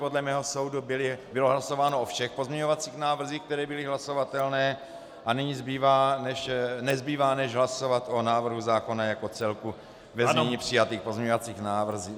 Podle mého soudu bylo hlasováno o všech pozměňovacích návrzích, které byly hlasovatelné, a nyní nezbývá než hlasovat o návrhu zákona jako celku ve znění přijatých pozměňovacích návrhů.